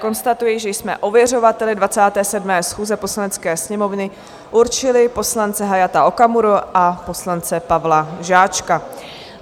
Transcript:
Konstatuji, že jsme ověřovateli 27. schůze Poslanecké sněmovny určili poslance Hayata Okamuru a poslance Pavla Žáčka.